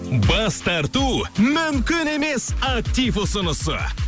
бас тарту мүмкін емес актив ұсынысы